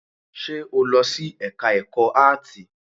Ṣe o lọ sí ẹka ẹ̀kọ́ áàtì?